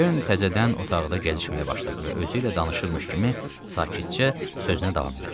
Kern təzədən otaqda gəzişməyə başladı və özü ilə danışırmış kimi sakitcə sözünə davam elədi.